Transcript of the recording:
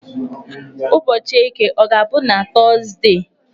Ụbọchị Eke ọ ga-abụ na Tọzdee?